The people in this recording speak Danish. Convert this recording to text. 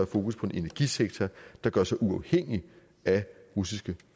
fokus på en energisektor der gør sig uafhængig af russiske